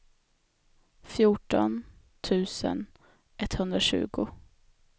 fjorton tusen etthundratjugo